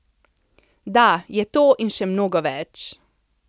Da, je to in še mnogo več!